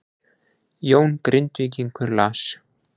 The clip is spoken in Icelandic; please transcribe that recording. Jón Grindvíkingur las